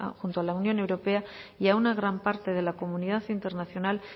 junto a la unión europea y a una gran parte de la comunidad internacional